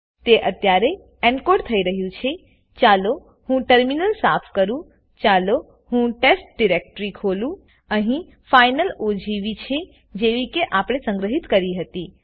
તે અત્યારે એનકોડ થઇ રહ્યું છેચાલો હું ટર્મિનલ સાફ કરુંચાલો હું ટેસ્ટ ડિરેક્ટરી ખોલુંઅહી ફાઈનલ ઓજીવી છેજેવી કે આપણે સંગ્રહિત કરી હતી